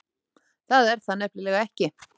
Það er það nefnilega ekki.